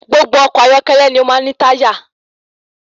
Gbogbo ọkọ̀ ayọ́kẹ́lẹ́ ni o máa ń ní táyà.